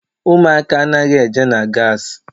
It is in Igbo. Ụmụaka anaghị eje na gaasi.